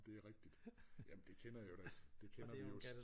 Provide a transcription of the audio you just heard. Det rigtigt jamen det kender jeg jo da det kender vi jo